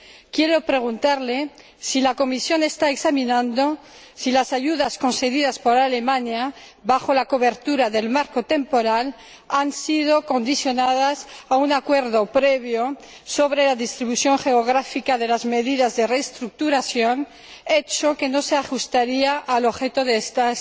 Quiero preguntarle si la Comisión está examinando si las ayudas conseguidas por Alemania bajo la cobertura del marco temporal han sido condicionadas a un acuerdo previo sobre la distribución geográfica de las medidas de reestructuración, lo que no se ajustaría al objeto de estas